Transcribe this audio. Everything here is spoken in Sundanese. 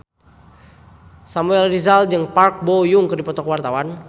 Samuel Rizal jeung Park Bo Yung keur dipoto ku wartawan